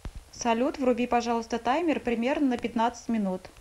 салют вруби пожалуйста таймер примерно на пятнадцать минут